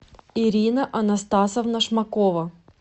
ирина анастасовна шмакова